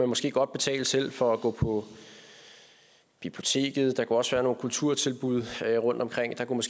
måske godt betale selv for eksempel for at gå på biblioteket der kunne også være nogle kulturtilbud rundtomkring og der kunne